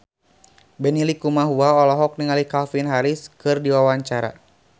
Benny Likumahua olohok ningali Calvin Harris keur diwawancara